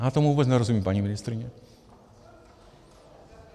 Já tomu vůbec nerozumím, paní ministryně.